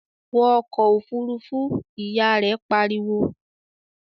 "Wọ ọkọ̀ Òfurufú!", Ìyá rẹ̀ pariwo